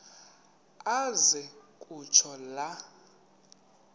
aze kutsho la